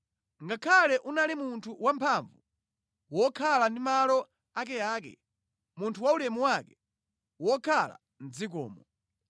ngakhale unali munthu wamphamvu, wokhala ndi malo akeake, munthu waulemu wake, wokhala mʼdzikomo.